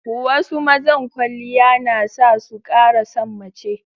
Wasu mazan kwaliya na sa su ƙara san mace.